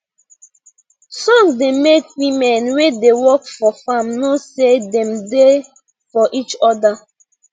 song da make women wey da work for farm know say dem da for each oda